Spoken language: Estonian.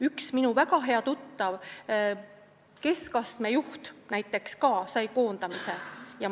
Üks minu väga hea tuttav, keskastme juht, ka koondati.